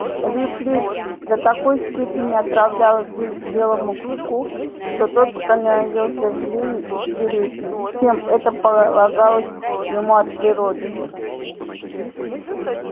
лип лип до такой степени отравлял жизнь белому клыку что тот становился злее и свирепее чем это полагалось ему от природы